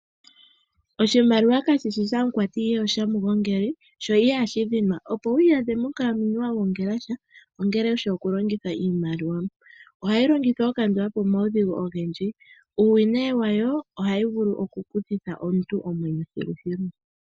Oshimaliwa kashishi shamukwati ihe oshamugongeli sho ihashi dhinwa. Opo wu iyadhe monkalamwenyo wagongela sha ongele wushi okulongitha iimaliwa. Ohayi longithwa okukandula po omaudhigu ogendji. Uuwinayi wayo ohayi vulu okukuthitha omuntu omwenyo thilu thilu.